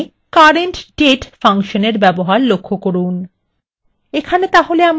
এখানে current _ date ফাংশনএর ব্যবহার লক্ষ্য করুন